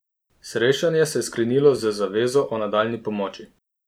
Srečanje se je sklenilo z zavezo o nadaljnji pomoči.